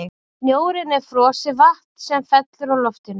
snjórinn er frosið vatn sem fellur úr loftinu